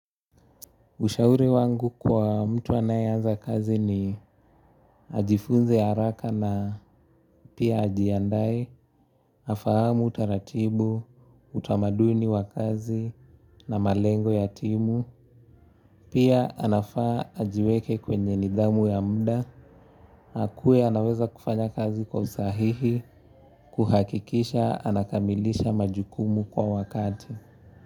Ushauri wangu kwa mtu anayeaza kazi ni ajifunze haraka na pia ajiandae, afahamu utaratibu, utamaduni wa kazi na malengo ya timu, pia anafaa ajiweke kwenye nidhamu ya muda, akuwe anaweza kufanya kazi kwa usahihi, kuhakikisha anakamilisha majukumu kwa wakati.